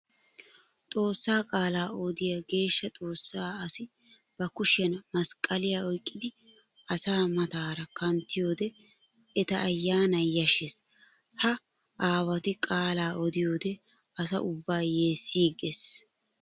Xoosa qaala odiya geeshsha xoosa asi ba kushiyan masqqaliya oyqqiddi asaa matara kanttiyoode etta ayyanay yashees. Ha aawatti qaala odiyoode asa ubba yeesigeesi.